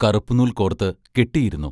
കറുപ്പുനൂൽ കോർത്ത് കെട്ടിയിരുന്നു.